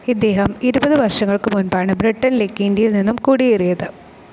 ഇദ്ദേഹം ഇരുപതു വർഷങ്ങൾക്ക് മുൻപാണ് ബ്രിട്ടനിലേക്ക് ഇന്ത്യയിൽ നിന്നു കുടിയേറിയത്.